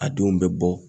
A denw bɛ bɔ